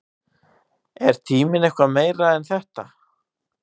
Er tíminn eitthvað meira en þetta?